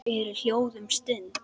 Þau eru hljóð um stund.